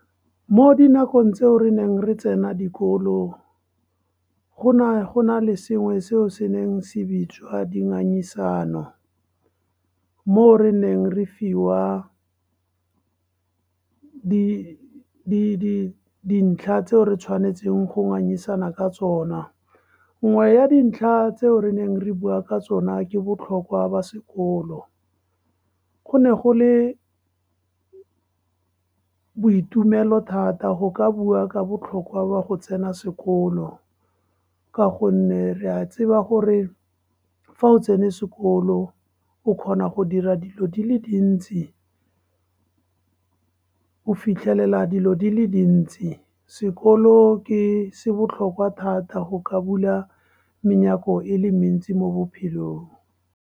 Mo dinakong tseo re neng re tsena dikolo, go ne go na le sengwe, seo se neng se bitswa dingangisano. Mo o re neng re fiwa dintlha tseo re tshwanetseng go ngangisanang ka tsona. Nngwe ya dintlha tseo re neng re bua ka tsona, ke botlhokwa ba sekolo. Go ne go le boitumelo thata go ka bua ka botlhokwa ba go tsena sekolo, ka gonne re a tseba gore fa o tsene sekolo, o kgona go dira dilo di le dintsi, o fitlhelela dilo di le dintsi. Sekolo se botlhokwa thata go ka bula menyako e le mentsi mo bophelong.